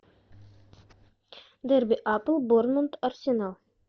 дерби апл борнмут арсенал